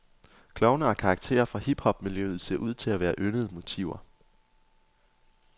Klovne og karakterer fra hiphopmiljøet ser ud til at være yndede motiver.